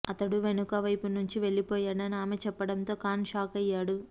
అతడు వెనుక వైపు నుంచి వెళ్లిపోయాడని ఆమె చెప్పడంతో ఖాన్ షాకయ్యాడు